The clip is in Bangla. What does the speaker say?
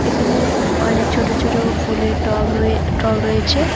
এখানে অনেক ছোট ছোট ফুলের টব রয়ে টব রয়েছে।